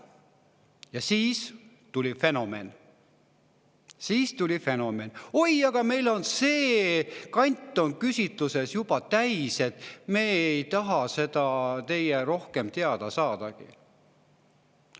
Ja siis fenomen: "Oi, aga meil on sellest kandist küsitluse juba täis, me ei taha teilt rohkem teada saadagi.